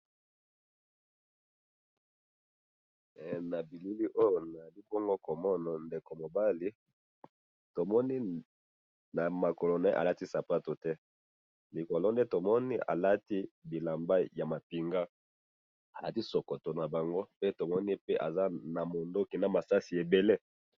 na bilili oyo nazali bongo komona ndeko mobali to moni na makolo naye aliti sapatu te likolo nde to moni alati bilamba ya mapinga alati sokoto na bango pe tomoni eza namunduki nama sasi ebele